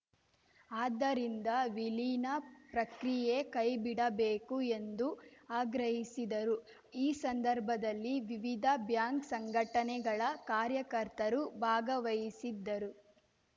ಆದ್ದರಿಂದ ವಿಲೀನ ಪ್ರಕ್ರಿಯೆ ಕೈ ಬಿಡಬೇಕು ಎಂದು ಆಗ್ರಹಿಸಿದರು ಈ ಸಂದರ್ಭದಲ್ಲಿ ವಿವಿಧ ಬ್ಯಾಂಕ್‌ ಸಂಘಟನೆಗಳ ಕಾರ್ಯಕರ್ತರು ಭಾಗವಹಿಸಿದ್ದರು